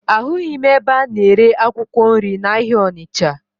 Ahụghị m ebe a na-ere akwụkwọ nri n'ahịa Ọnịcha